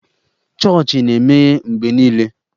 Chọọchị na-emeghe mgbe niile.